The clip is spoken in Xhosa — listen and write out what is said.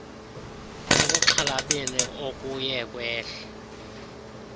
ekuxhalabeni okuye kwehle